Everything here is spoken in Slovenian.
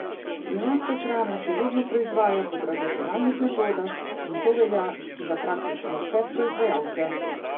Pri nas se hrana še vedno proizvaja po tradicionalnih metodah, in to velja za praktično vse proizvajalce.